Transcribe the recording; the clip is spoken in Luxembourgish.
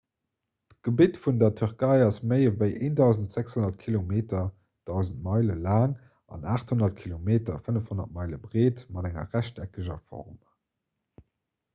d'gebitt vun der tierkei ass méi ewéi 1 600 kilometer 1 000 meile laang an 800 km 500 meile breet mat enger rechteckeger form